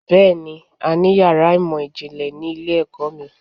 Bẹ́ẹ̀ni, a ní yàrá ìmọ̀ ìjìnlẹ̀ ni ilé-ẹ̀kọ́ mi